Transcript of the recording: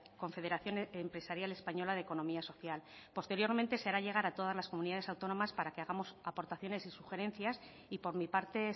confederación empresarial española de economía social posteriormente se hará llegar a todas las comunidades autónomas para que hagamos aportaciones y sugerencias y por mi parte